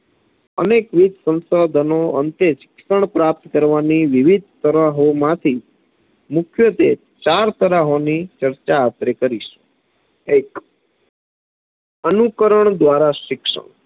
અનેકવિધ સંશોધનોને અંતે શિક્ષણ પ્રાપ્ત કરવાની વિવિધ તરાહોમાંથી મુખ્યત્વે ચાર તરાહોની ચર્ચા આપણે કરીશું એક અનુકરણ દ્વારા શિક્ષણ